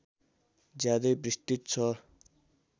ज्यादै विस्तृत छ